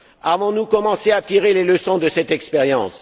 Avons nous commencé à tirer les leçons de cette expérience?